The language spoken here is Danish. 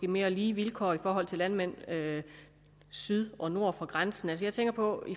mere lige vilkår for landmænd syd og nord for grænsen jeg tænker på